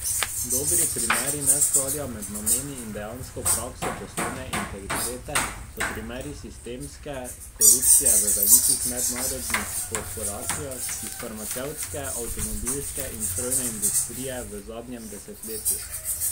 Dobri primeri neskladja med nameni in dejansko prakso poslovne integritete so primeri sistemske korupcije v velikih mednarodnih korporacijah iz farmacevtske, avtomobilske in strojne industrije v zadnjem desetletju.